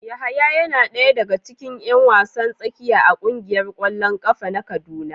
Yahaya yana daya daga cikin yan wasan tsakiya a kungiyar kwallon kafa na kaduna.